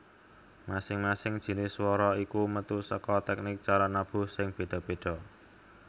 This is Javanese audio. Masing masing jinis swara iku metu saka teknik cara nabuh sing beda beda